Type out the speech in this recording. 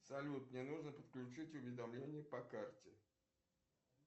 салют мне нужно подключить уведомления по карте